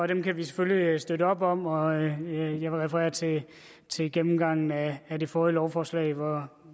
det kan vi selvfølgelig støtte op om og jeg vil referere til til gennemgangen af det forrige lovforslag hvor